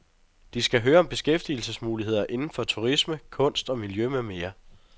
De skal høre om beskæftigelsesmuligheder inden for turisme, kunst og miljø med mere.